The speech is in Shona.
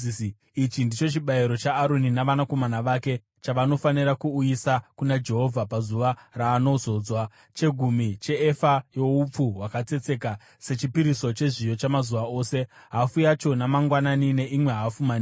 “Ichi ndicho chibayiro chaAroni navanakomana vake chavanofanira kuuyisa kuna Jehovha pazuva raanozodzwa: chegumi cheefa youpfu hwakatsetseka sechipiriso chezviyo chamazuva ose, hafu yacho mangwanani neimwe hafu manheru.